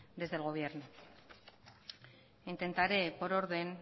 desde el gobierno intentaré por orden